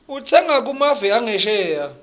kutsenga kumave angesheya